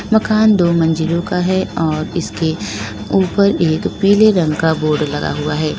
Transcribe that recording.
मकान दो मंजिलों का है और इसके ऊपर एक पीले रंग का बोर्ड लगा हुआ है।